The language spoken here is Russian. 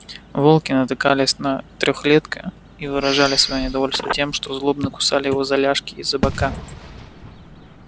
волки натыкались на трёхлетка и выражали своё недовольство тем что злобно кусали его за ляжки и за бока